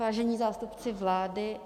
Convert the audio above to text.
Vážení zástupci vlády...